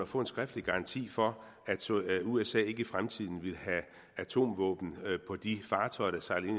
få en skriftlig garanti for at usa ikke i fremtiden ville have atomvåben på de fartøjer der sejlede